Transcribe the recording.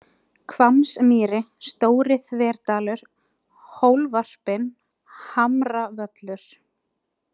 Hvammsmýri, Stóri-Þverdalur, Hólvarpinn, Hamravöllur